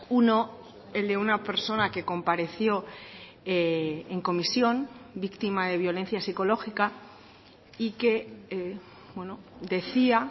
uno el de una persona que compareció en comisión víctima de violencia psicológica y que decía